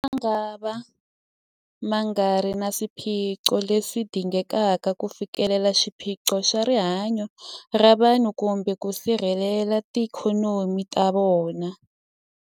Motala mangava ma nga ri na swipfuno leswi dingekaka ku fikelela xiphiqo xa rihanyu ra vanhu kumbe ku sirhelela tiikhonomi ta vona.